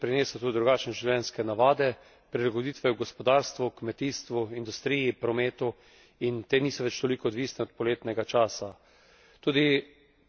Do danes je napredek prinesel drugačne življenjske navade, prilagoditve v gospodarstvu, kmetijstvu, industriji, prometu in te niso več toliko odvisne od poletnega časa.